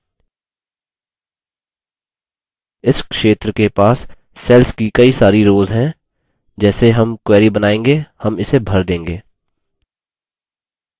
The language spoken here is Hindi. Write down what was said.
इस क्षेत्र के पास cells की कई सारी rows हैं जैसे हम query बनायेंगे हम इसे भर देंगे